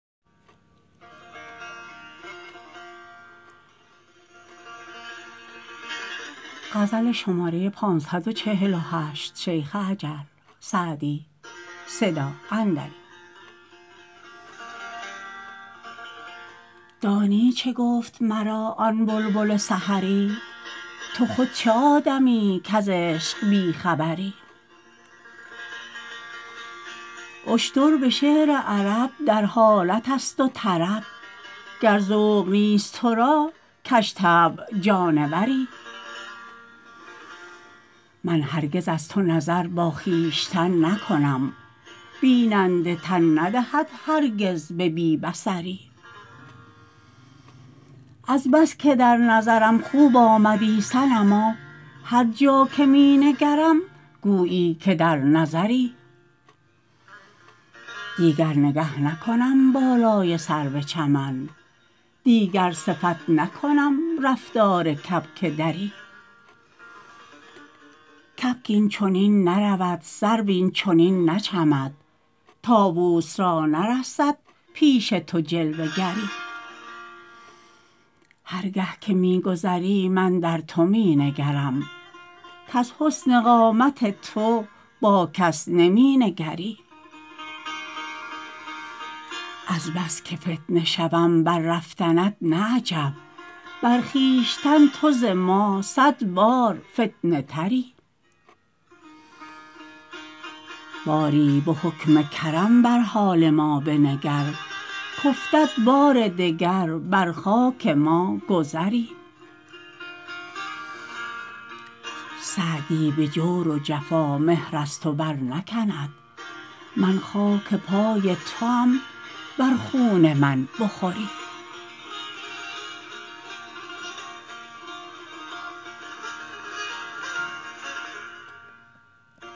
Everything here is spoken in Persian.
دانی چه گفت مرا آن بلبل سحری تو خود چه آدمیی کز عشق بی خبری اشتر به شعر عرب در حالت است و طرب گر ذوق نیست تو را کژطبع جانوری من هرگز از تو نظر با خویشتن نکنم بیننده تن ندهد هرگز به بی بصری از بس که در نظرم خوب آمدی صنما هر جا که می نگرم گویی که در نظری دیگر نگه نکنم بالای سرو چمن دیگر صفت نکنم رفتار کبک دری کبک این چنین نرود سرو این چنین نچمد طاووس را نرسد پیش تو جلوه گری هر گه که می گذری من در تو می نگرم کز حسن قامت خود با کس نمی نگری از بس که فتنه شوم بر رفتنت نه عجب بر خویشتن تو ز ما صد بار فتنه تری باری به حکم کرم بر حال ما بنگر کافتد که بار دگر بر خاک ما گذری سعدی به جور و جفا مهر از تو برنکند من خاک پای توام ور خون من بخوری